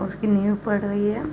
उसकी नीव पड रही है।